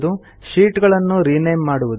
sheet ಗಳನ್ನು rename ಮಾಡುವುದು